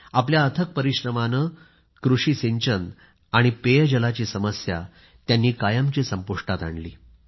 आपल्या अथक परिश्रमाने कृषी सिंचन आणि पेयजलाची समस्या कायमची संपुष्टात आणली